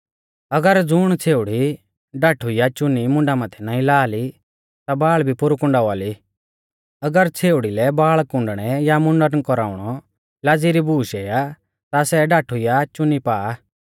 अगर ज़ुण छ़ेउड़ी ढाठु या चुन्नी मुंडा माथै नाईं ला ली ता बाल़ भी पोरु कुँडावा ली अगर छ़ेउड़ी लै बाल़ कुँडणै या मुंडन कौराउणौ लाज़ी री बूश इऐ आ ता सै ढाठु ला या चुन्नी पा